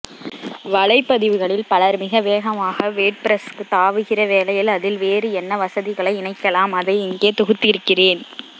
வலைப்பதிவுகளில் பலர் மிக வேகமாக வேட்பிரஸ்க்கு தாவுகிற வேளையில் அதில் வேறு என்ன வசதிகளை இணைக்கலாம் அதை இங்கே தொகுத்திருக்கிறேன்